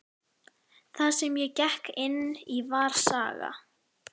Það sem ég gekk inn í var saga.